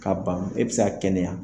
Ka ban e bɛ se ka kɛnɛya.